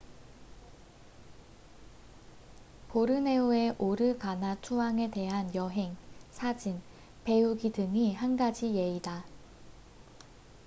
보르네오의 오르가나투앙에 대한 여행 사진 배우기 등이 한 가지 예다